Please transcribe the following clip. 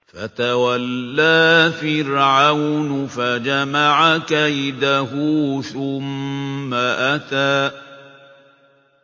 فَتَوَلَّىٰ فِرْعَوْنُ فَجَمَعَ كَيْدَهُ ثُمَّ أَتَىٰ